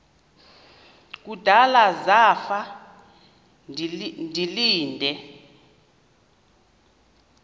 kudala zafa ndilinde